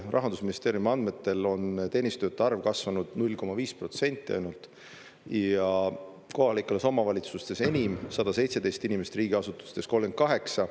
Rahandusministeeriumi andmetel on teenistujate arv kasvanud 0,5% ainult ja kohalikes omavalitsustes enim, 117 inimest, riigiasutustes 38.